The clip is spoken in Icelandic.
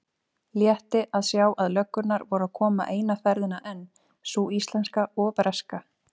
Létti að sjá að löggurnar voru að koma eina ferðina enn, sú íslenska og breska.